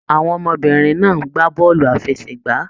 Àwọn ọmọbìnrin náà ń gbá bọọlu àfẹ́sẹ̀gbà.